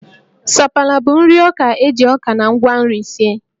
Sapala bụ nri ọka e ji ọka na ngwa nri sie